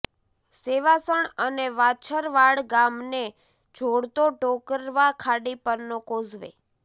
સેવાસણ અને વાછરવાડ ગામને જોડતો ટોકરવા ખાડી પરનો કોઝવે